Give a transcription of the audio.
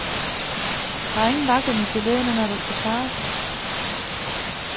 Der er ingen vaklen i geledderne, når der skal svares.